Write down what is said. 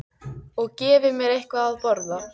Og gefi mér eitthvað að borða.